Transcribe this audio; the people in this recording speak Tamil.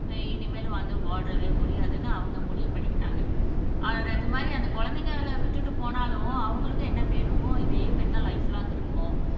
அஹ் இனிமேல் வந்து வாழவே முடியாதுன்னு அவங்க முடிவு பண்ணிக்கிட்டாங்க அது மாரி அந்த குழந்தைங்களை விட்டுட்டு போனாலும் அவங்களுக்கும் என்ன பேர் இருக்கும் இதே பேர்தான் லைப் லாங் இருக்கும்